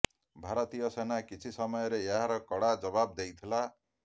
ଭାରତୀୟ ସେନା କିଛି ସମୟରେ ଏହାର କଡ଼ା ଜବାବ ଦେଇଥିଲା